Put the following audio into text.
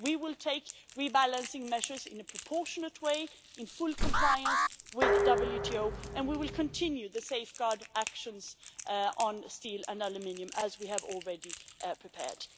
We will take rebalancing measures in a proportionate way in full compliance with the WTO, and we will continue the safeguard actions on steel and aluminium, as we have already prepared.